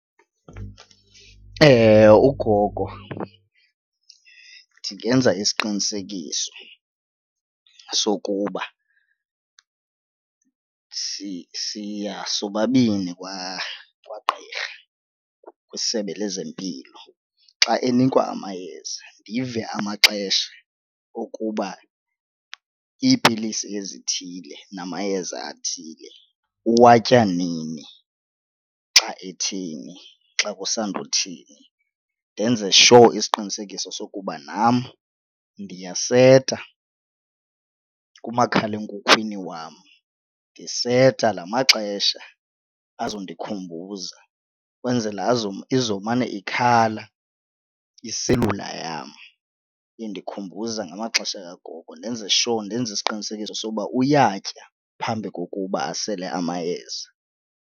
Ugogo ndingenza isiqinisekiso sokuba siya sobabini kwagqirha kwisebe lezempilo. Xa enikwa amayeza ndive amaxesha okuba iipilisi ezithile namayeza athile uwatya nini xa ethini, xa kusanda kuthini ndenze sure isiqinisekiso sokuba nam ndiyaseta kumakhalekhukhwini wam, ndiseta la maxesha azondikhumbuza ukwenzela izomane ikhala iselula yam indikhumbuza ngamaxesha angoku. Ndenze sure ndenze isiqinisekiso sokuba uyatya phambi kokuba asele amayeza.